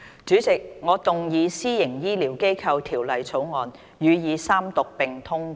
主席，我動議《私營醫療機構條例草案》予以三讀並通過。